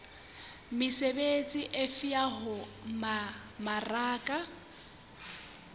mesebetsi efe ya ho mmaraka